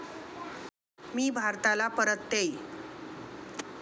मी भारताला परततेय.